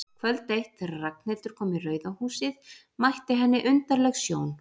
Kvöld eitt, þegar Ragnhildur kom í Rauða húsið, mætti henni undarleg sjón.